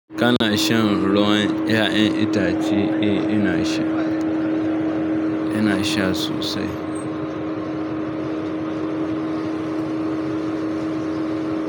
Ka na shan ruwan 'ya'yan itace? Eh ina sha, ina sha sosai.